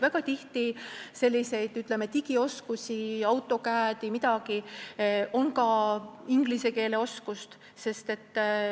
Väga tihti on vaja digioskusi, AutoCAD-i, on vaja ka inglise keele oskust.